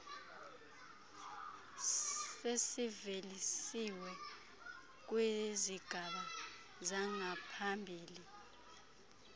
sezivelisiwe kwizigaba zangaphambili